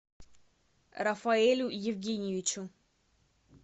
рафаэлю евгеньевичу